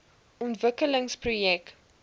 ontwikkelingsprojek